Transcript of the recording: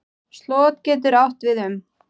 Slot getur átt við um